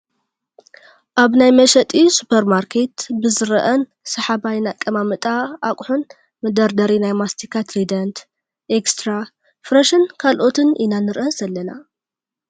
ኣብ ናይ መሸጢ ሱፐር ማርኬት ብዝርአን ሰሓባይን ኣቀማምጣ ኣቁሑን መደርደሪ ናይ ማስቲካ ትሪደንት፣ ኤክስትራ፣ ፍረሽን ካልኦትን ኢና ንሪኢ ዘላና ።